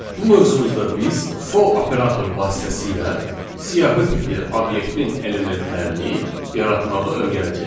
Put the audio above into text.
Bu mövzumuzda biz for operatoru vasitəsilə siyahı tipli obyektin elementlərini yaratmağı öyrənəcəyik.